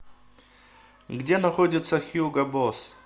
где находится хьюго босс